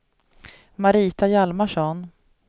Marita Hjalmarsson